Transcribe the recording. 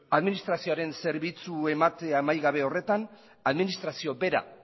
administrazioaren zerbitzu emate amaigabe horretan administrazioa bera